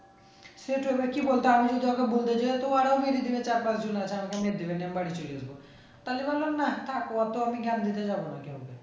সে তো ভাই কি বলতে চার পাঁচ জন আছে আমি বাড়ি চলে যাবো তাহলে ভাবলাম না থাক অতো আমি জ্ঞান দিতে যাবো না কাও কে